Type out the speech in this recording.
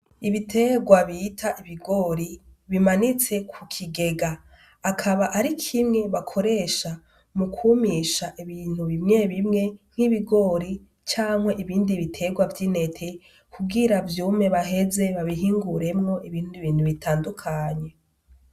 Ibiterwa bita ibigori bimanitse ku kigega akaba ari kimwe bakoresha mu kumisha ibintu bimwebimwe nk'ibigori Canke ibindi biterwa vy'intete kugira vyume baheze babihinguremwo ibindi bintu bitandukanye.